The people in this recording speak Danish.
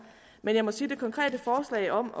men jeg må sige at de konkrete forslag om